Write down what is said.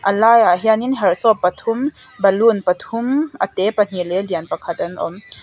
a laiah hianin herh sawp pathum balloon pathum a te pahnih leh a lian pakhat an awm.